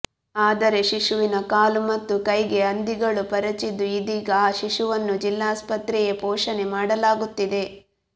ಆದರೆ ಶಿಶುವಿನ ಕಾಲು ಮತ್ತು ಕೈಗೆ ಹಂದಿಗಳು ಪರಚಿದ್ದು ಇದೀಗ ಆ ಶಿಶುವನ್ನು ಜಿಲ್ಲಾಸ್ಪತ್ರೆಯೇ ಪೋಷಣೆ ಮಾಡಲಾಗುತ್ತಿದೆ